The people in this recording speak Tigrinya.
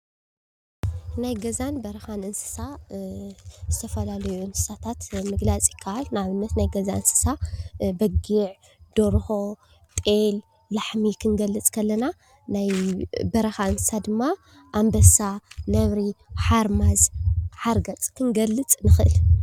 ናይ ገዛን በረኻን እንስሳ ዝተፈላለዩ እንስሳታት ምግላፅ ይከአል። ንአብነት ናይ ገዛ እንስሳ በጊዕ፣ ደርሆ፣ ጤል፣ ላሕሚ ክንገልፅ ከለና ናይ በረኻ እንስሳ ድማ አንበሳ፣ ንብሪ፣ ሓርማዝ፣ ሓርገፅ ክንገልፅ ንኽእል።